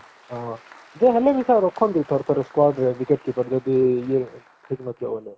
ହଁ ଯେ ହେଲେ ବି ସେ ରଖନ୍ତି ଥରେ ଥରେ squad ରେ wicket keeper ଯଦି ଇଏ ଠିକ ନଥିବ ବୋଲେ